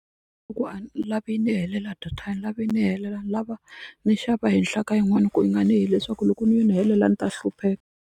a ni lavi yi ni helela data a ni lavi yi ni helela ni lava ndzi xava henhla ka yin'wani ku nga yi nga ni leswaku loko ni yi ni helela ni ta hlupheka.